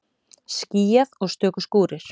Skýjað og stöku skúrir